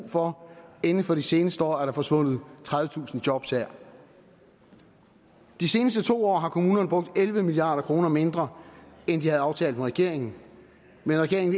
for inden for de seneste år er der forsvundet tredivetusind jobs her de seneste to år har kommunerne brugt elleve milliard kroner mindre end de havde aftalt med regeringen men regeringen